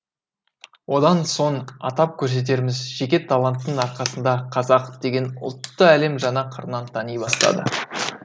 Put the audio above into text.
одан соң атап көрсетеріміз жеке таланттың арқасында қазақ деген ұлтты әлем жаңа қырынан тани бастады